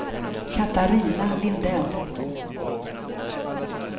Katarina Lindell